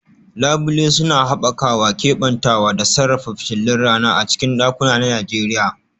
Labule suna haɓaka keɓantawa da sarrafa fitilun rana a cikin ɗakuna na Najeriya